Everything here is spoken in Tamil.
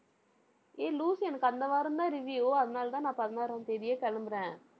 ஏய் லூசு எனக்கு அந்த வாரம்தான் review அதனாலதான், நான் பதினாறாம் தேதியே கிளம்புறேன்